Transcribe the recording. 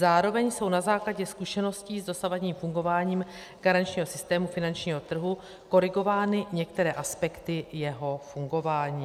Zároveň jsou na základě zkušeností s dosavadním fungováním garančního systému finančního trhu korigovány některé aspekty jeho fungování.